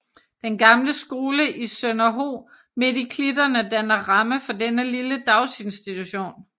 Den gamle skole i Sønderho midt i klitterne danner ramme for denne lille daginstitution